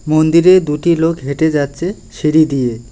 মন্দিরে দুটি লোক হেঁটে যাচ্ছে সিঁড়ি দিয়ে।